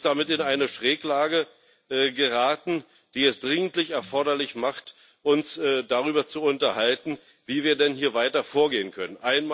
Sie ist damit in eine Schräglage geraten, die es dringend erforderlich macht, uns darüber zu unterhalten, wie wir denn hier weiter vorgehen können.